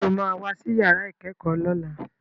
Sọ ma wá sí yàrá ìkẹ́kọ̀ọ́ lọ́la?